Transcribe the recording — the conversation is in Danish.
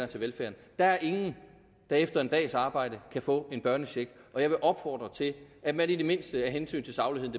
til velfærden der er ingen der efter en dags arbejde kan få en børnecheck og jeg vil opfordre til at man i det mindste af hensyn til sagligheden